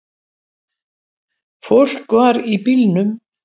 Fólk var í bílnum.